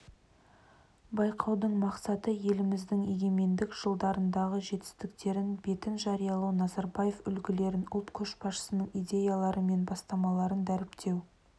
байқаудың мақсаты еліміздің егемендік жылдарындағы жетістіктерін бетіне жариялау назарбаев үлгілерін ұлт көшбасшысының идеялары мен бастамаларын дәріптеу